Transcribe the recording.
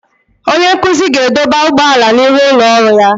Onye nkuzi ga-edọba ụgbọala n'ihu ụlọ ọrụ ya.